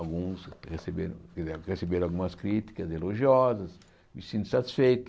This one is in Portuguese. Alguns receberam receberam algumas críticas elogiosas, me sinto satisfeito.